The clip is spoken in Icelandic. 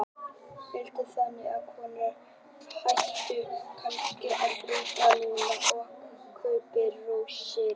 Þórhildur: Þannig að konurnar ættu kannski að hlaupa út núna og kaupa rósir?